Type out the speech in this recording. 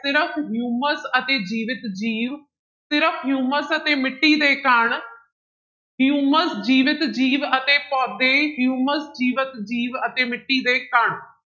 ਸਿਰਫ਼ ਹਿਊਮਸ ਅਤੇ ਜੀਵਤ ਜੀਵ, ਸਿਰਫ਼ ਹਿਊਮਸ ਅਤੇ ਮਿੱਟੀ ਦੇ ਕਣ, ਹਿਊਮਸ ਜੀਵਤ ਜੀਵ ਅਤੇ ਪੌਦੇ, ਹਿਊਮਸ ਜੀਵਤ ਜੀਵ ਅਤੇ ਮਿੱਟੀ ਦੇ ਕਣ।